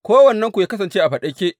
Kowannenku yă kasance a faɗake.